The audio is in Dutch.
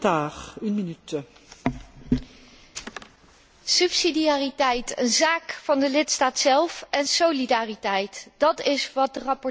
Subsidiariteit, een zaak van de lidstaat zelf, en solidariteit, dat is wat de rapporteur voortdurend zei over het pensioenbeleid.